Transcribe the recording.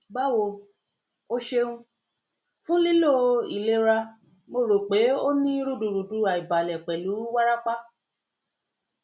bawo o ṣeun fun lilo ilera ilera mo ro pe o ni rudurudu aibalẹ pẹlu warapa